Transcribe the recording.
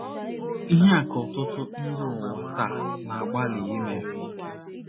Ihe a ka ọtụtụ ndị n’ụwa taa na - agbalị ime.